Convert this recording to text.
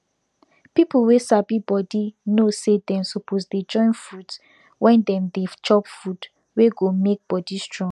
pipu wey sabi body know say dem suposse dey join furit when dem dey chop food wey go make body strong